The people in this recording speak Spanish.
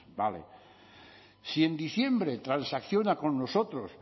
vale si en diciembre transacciona con nosotros